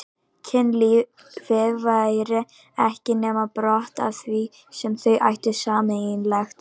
Kynlífið væri ekki nema brot af því sem þau ættu sameiginlegt.